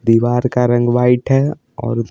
दीवार का रंग वाइट है और--